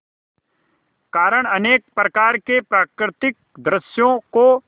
कारण अनेक प्रकार के प्राकृतिक दृश्यों को